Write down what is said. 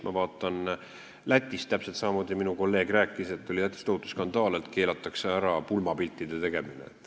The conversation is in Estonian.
Täpselt samamoodi rääkis minu kolleeg, et Lätis oli tohutu skandaal, kardeti, et keelatakse ära pulmapiltide tegemine.